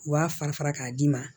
U b'a fara fara k'a d'i ma